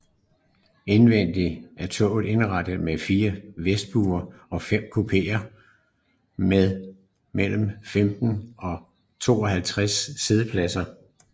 Indvendigt er toget indrettet med 4 vestibuler og 5 kupéer med mellem 15 og 52 siddepladser